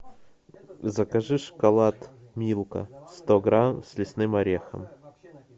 закажи шоколад милка сто грамм с лесным орехом